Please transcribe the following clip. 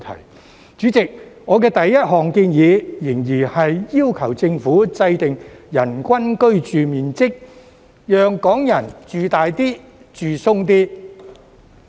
代理主席，我第一項建議，仍然是要求政府制訂"人均居住面積"指標，讓港人"住大啲、住鬆啲"。